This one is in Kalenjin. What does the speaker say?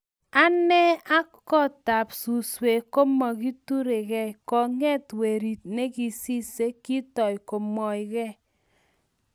ane ak kotab suswek komakiturekei, konget werit ne kisise kitoi komwoigei